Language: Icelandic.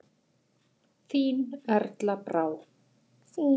Þín Erla Brá.